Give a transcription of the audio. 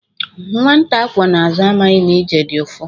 Nwata akwọ n'azụ amaghi na ije dị ụfụ.